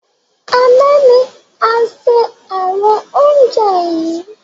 Àná ni a ṣe àwọn oúnjẹ yìí